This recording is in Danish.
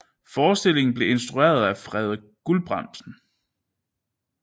Forestillingen blev instrueret af Frede Gulbrandsen